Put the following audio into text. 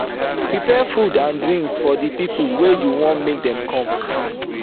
prepare food and drinks for the pipo wey you won make dem come